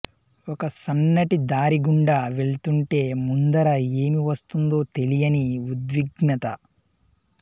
ఒక సన్నటి దారి గుండా వెళ్తుంటే ముందర ఏమి ఒస్తుందో తెలియని ఉద్విగ్నత